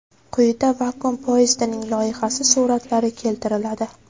Quyida vakuum poyezdining loyihasi suratlari keltiriladi.